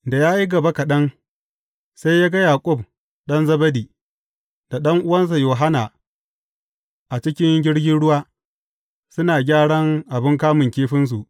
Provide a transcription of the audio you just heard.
Da ya yi gaba kaɗan, sai ya ga Yaƙub ɗan Zebedi, da ɗan’uwansa Yohanna a cikin jirgin ruwa, suna gyaran abin kamun kifinsu.